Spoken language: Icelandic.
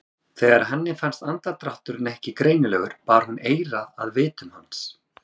Þegar henni fannst andardrátturinn ekki greinilegur bar hún eyrað að vitum hans.